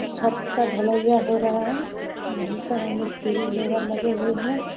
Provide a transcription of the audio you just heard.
छत का ढलेइया हो रहा है बहुत सारा मिस्त्री लेबर लगे हुए हैं।